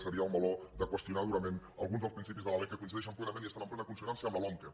seria el meló de qüestionar durament alguns dels principis de la lec que coincideixen plenament i estan en plena consonància amb la lomqe